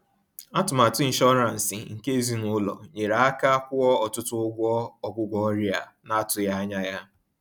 Atụmatụ inshọransị nke ezinụlọ nyere aka kwụọ ọtụtụ ụgwọ ọgwụgwọ ọrịa a na-atụghị anya ya.